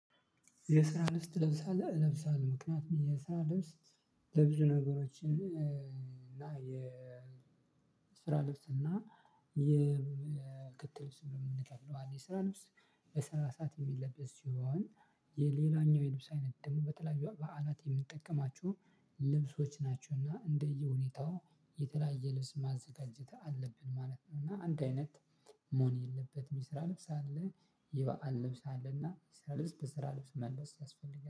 የስራ ልብስ ትለብሳለህ እለብሳለሁ ምክንያቱም የስራ ልብስ ለብዙ ነገሮችን እና የ የስራ ልብስ እና የክት ልብስ የምንለው አለ የስራ ልብስ በስራ ሰዓት የሚለብስ ሲሆን የሌላኛው የልብስ አይነት ደግሞ በተለያዩ በዓላት የምንጠቀማቸው ልብሶች ናቸውና እንደየሁኔታው የተለያየ ልብስ ማዘጋጀት አለብን ማለት ነውና። አንድ አይነት መሆን የለበትም። የስራ ልብስ አለ የበአል ልብስ አለና የስራ ልብስ በስራ ሰዓት መልበስ ያስፈልጋል